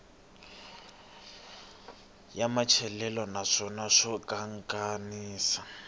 ya matsalelo naswona xa kanakanisa